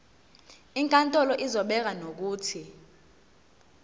inkantolo izobeka nokuthi